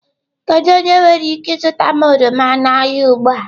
Kedu onye nwere ike zụta m oroma n'ahịa ugbu a?